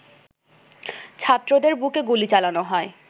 ছাত্রদের বুকে গুলি চালানো হয়